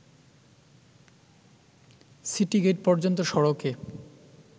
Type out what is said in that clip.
city gate পর্যন্ত সড়কে